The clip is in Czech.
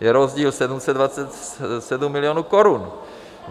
je rozdíl 727 milionů korun.